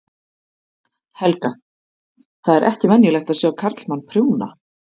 Helga: Það er ekki venjulegt að sjá karlmann prjóna?